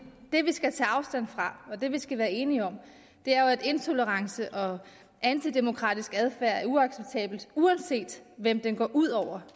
skal tage afstand fra og det vi skal være enige om er jo at intolerance og antidemokratisk adfærd er uacceptabelt uanset hvem det går ud over